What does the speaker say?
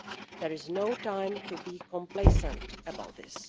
There is no time to be complacent about this.